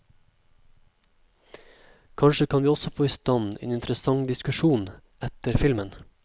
Kanskje kan vi også få i stand en interessant diskusjon etter filmen.